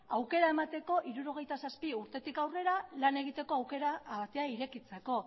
aukera emateko hirurogeita zazpi urtetik aurrera lan egiteko aukera atea irekitzeko